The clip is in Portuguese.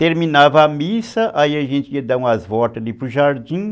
Terminava a missa, aí a gente ia dar umas voltas ali para o jardim.